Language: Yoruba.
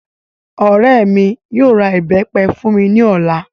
Ọrẹ mí yóò ra ìbẹ́pẹ fún mí ní ọ̀la